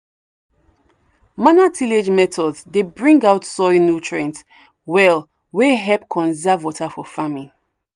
manual tillage methods dey bring out soil nutrients well wey help conserve water for farming.